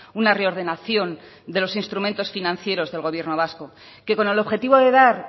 una reordenación de los instrumentos financieros del gobierno vasco que con el objetivo de dar